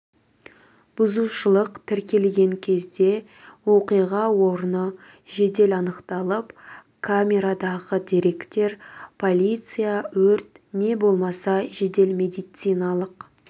бұзушылық тіркелген кезде оқиға орны жедел анықталып камерадағы деректер полиция өрт не болмаса жедел медициналық